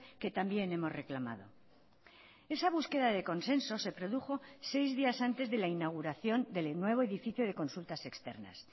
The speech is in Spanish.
que también hemos reclamado esa búsqueda de consenso se produjo seis días antes de la inauguración del nuevo edificio de consultas externas